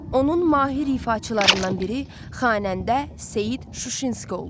Onun mahir ifaçılarından biri xanəndə Seyid Şuşinski olub.